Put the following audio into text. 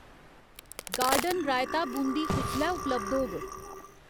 Garden raita बूंदी कुसलै उपलब्ध होग ?